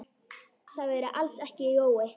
Það væri alls ekki Jói.